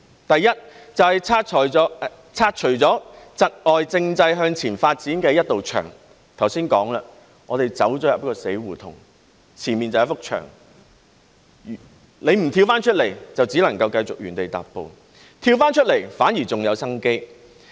第一，是拆除窒礙政制向前發展的一道牆，正如剛才我說，我們進入了死胡同，前面便是一幅牆，如果不跳出來，就只能繼續原地踏步；跳出來，反而還有生機。